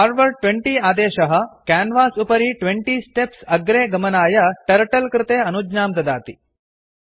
forward 20 आदेशः canvas उपरि 20 steps अग्रे गमनाय टर्टल कृते अनुज्ञां ददाति